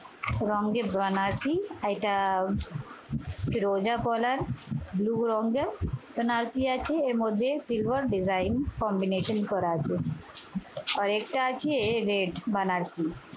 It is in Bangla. রংয়ের বেনারসি শাড়িটা রোজা পলার blue রংয়ের বেনারসি আছে। এর মধ্যে silver design combination করা আছে আর আরেকটা আছে red বেনারসি